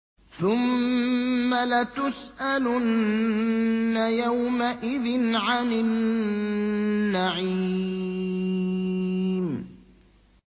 ثُمَّ لَتُسْأَلُنَّ يَوْمَئِذٍ عَنِ النَّعِيمِ